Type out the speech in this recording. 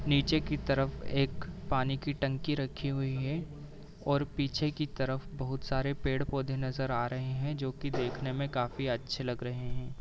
नीचे की तरफ एक पानी की टंकी रखी हुई है और पीछे की तरफ बहुत सारे पेड़ पौधे नज़र आ रहे हैं जोकि देखने में काफी अच्छे लग रहे हैं।